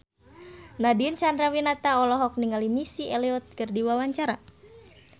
Nadine Chandrawinata olohok ningali Missy Elliott keur diwawancara